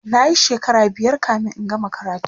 nayi shekara biyar kamin in gama karatun